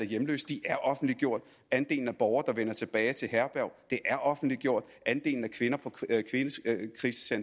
af hjemløse de er offentliggjort andelen af borgere der vender tilbage til herberg er offentliggjort andelen af kvinder